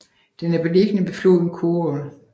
Den er beliggende ved floden Khorol